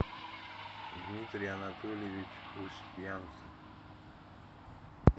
дмитрий анатольевич устьянцев